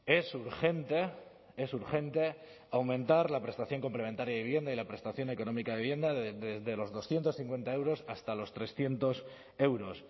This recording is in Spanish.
es urgente es urgente aumentar la prestación complementaria de vivienda y la prestación económica de vivienda desde los doscientos cincuenta euros hasta los trescientos euros